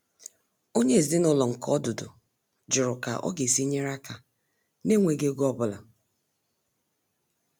Onyé ezinúlọ̀ nke ọdụ́dụ̀ jụrụ̀ ká ọ̀ ga-èsí nyeré aka nà-ènwèghi égò ọ́búlà.